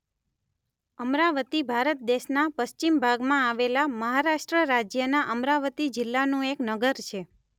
અમરાવતી ભારત દેશના પશ્ચિમ ભાગમાં આવેલા મહારાષ્ટ્ર રાજ્યના અમરાવતી જિલ્લાનું એક નગર છે.